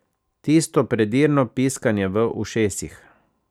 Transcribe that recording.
Tisto predirno piskanje v ušesih.